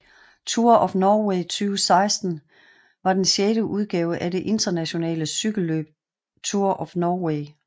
Tour of Norway 2016 var den sjette udgave af det internationale cykelløb Tour of Norway